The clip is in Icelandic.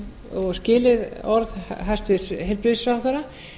og skilið orð hæstvirts heilbrigðisráðherra